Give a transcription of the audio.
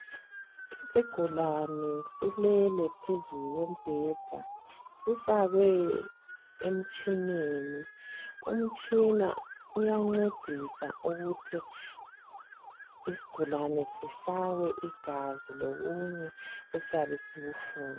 Isigulane silele phezu kwebheda sifakwe emitshineni umtshina uyancendisa ukuthi isigulane sifakwe igazi lokunye esiyabe sikufuna